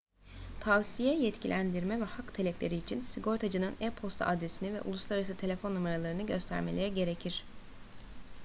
tavsiye/yetkilendirme ve hak talepleri için sigortacının e-posta adresini ve uluslararası telefon numaralarını göstermeleri gerekir